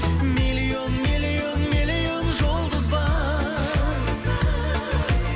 миллион миллион миллион жұлдыз бар